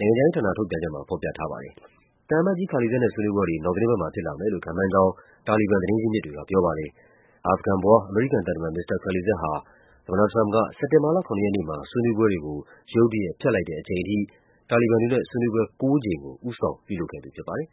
နိုင်ငံခြားရေးဌာန ထုတ်ပြန်ချက်မှာ ဖော်ပြထားပါ တယ်။ သံအမတ်ကြီး Khalilzad နဲ့ ဆွေးနွေးပွဲတွေ နောက်သီတင်းပတ်မှာ ဖြစ်လာမယ်လို့ ခန့်မှန်းကြောင်း တာလီဘန် သတင်း ရင်းမြစ်တွေကပြောပါတယ်။ အာဖဂန်ဖွား အမေရိကန်သံတမန် မစ္စတာ Khalilzad ဟာ သမ္မတထရမ့်ပ်က စက်တင်ဘာလ ၇ ရက်နေ့မှာ ဆွေးနွေးပွဲတွေကို ဖျက်လိုက်တဲ့အချိန်ထိ တာလီဘန်တွေနဲ့ ဆွေးနွေးပွဲ ကိုးကြိမ်ကို ဦးဆောင် ပြုလုပ်ခဲ့သူဖြစ်ပါတယ်။